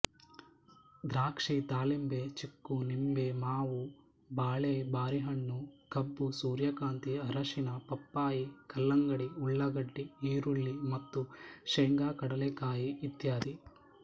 ದ್ರಾಕ್ಷಿ ದಾಳಿಂಬೆ ಚಿಕ್ಕು ನಿಂಬೆಮಾವು ಬಾಳೆಬಾರಿಹಣ್ಣು ಕಬ್ಬು ಸೂರ್ಯಕಾಂತಿ ಅರಿಸಿಣ ಪಪ್ಪಾಯಿ ಕಲ್ಲಂಗಡಿ ಉಳ್ಳಾಗಡ್ಡಿ ಈರುಳ್ಳಿ ಮತ್ತು ಶೇಂಗಾಕಡಲೆಕಾಯಿ ಇತ್ಯಾದಿ